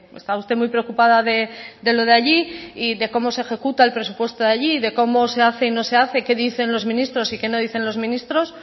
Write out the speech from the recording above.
está usted muy preocupada de lo de allí y de cómo se ejecuta el presupuesto de allí y de cómo se hace qué no se hace y qué dicen los ministros y qué no dicen los ministros